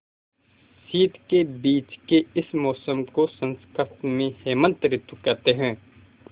शीत के बीच के इस मौसम को संस्कृत में हेमंत ॠतु कहते हैं